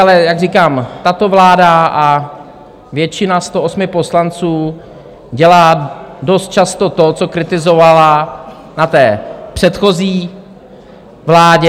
Ale jak říkám, tato vláda a většina 108 poslanců dělá dost často to, co kritizovala na té předchozí vládě.